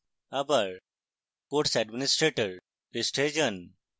আবার course administrator পৃষ্ঠায় যান